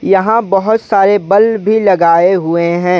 यहां बहुत सारे बल्व भी लगाए हुए हैं।